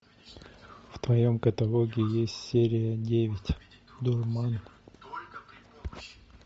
в твоем каталоге есть серия девять дурман